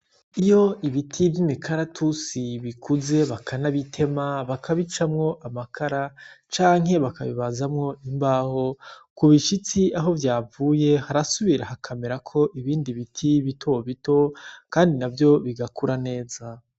Iyo ibiti vy’imikaratusi bikuze bakanabitema bakabicamwo amakara, canke bakabibazamwo imbaho, ku bishitsi aho vyavuye harasubira hakamerako ibindi biti bitoto kandi na vyo bigakura neza.